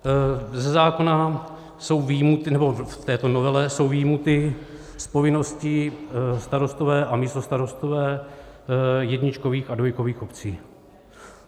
Ze zákona jsou vyjmuty, nebo v této novele jsou vyjmuty z povinností starostové a místostarostové jedničkových a dvojkových obcí.